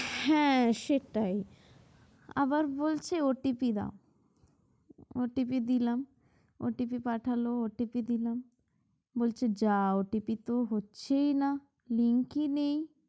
হ্যাঁ সেটাই আবার বলছে OTP দাও OTP দিলাম OTP পাঠাল OTP দিলাম বলছে যাও OTP হচ্ছেই না link ই নেই।